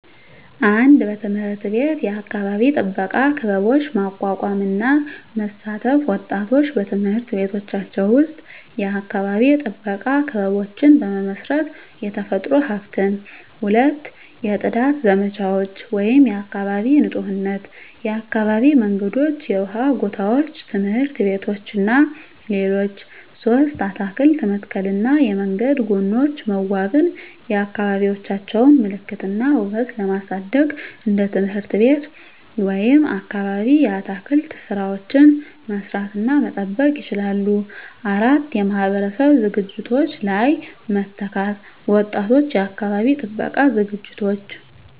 1. በትምህርት ቤት የአካባቢ ጥበቃ ክበቦች ማቋቋም እና መሳተፍ ወጣቶች በትምህርት ቤቶቻቸው ውስጥ የአካባቢ ጥበቃ ክበቦችን በመመስረት፣ የተፈጥሮ ሀብትን። 2. የጽዳት ዘመቻዎች (የአካባቢ ንፁህነት) የአካባቢ መንገዶች፣ የውሃ ጎታዎች፣ ትምህርት ቤቶች እና ሌሎች 3. አትክልት መተከልና የመንገድ ጎኖች መዋበን የአካባቢዎቻቸውን ምልክት እና ውበት ለማሳደግ እንደ ትምህርት ቤት ወይም አካባቢ የአትክልት ሥራዎችን መስራት እና መጠበቅ ይችላሉ። 4. የማህበረሰብ ዝግጅቶች ላይ መተካት ወጣቶች የአካባቢ ጥበቃ ዝግጅቶች